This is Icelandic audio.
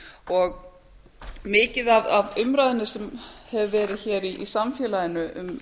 hafin mikið af umræðunni sem hefur verið í samfélaginu um